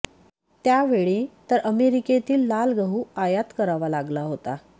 त्यावेळी तर अमेरिकेतील लाल गहू आयात करावा लागला होता